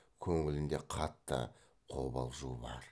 көңілінде қатты қобалжу бар